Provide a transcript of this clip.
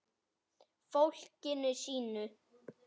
Fólkinu sínu.